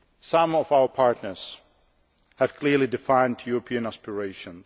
Some of our partners have clearly defined European aspirations.